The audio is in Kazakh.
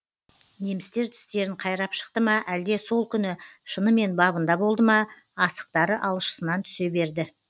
немістер тістерін қайрап шықты ма әлде сол күні шынымен бабында болды ма асықтары алшысынан түсе берді